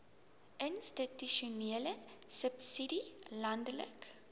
institusionele subsidie landelike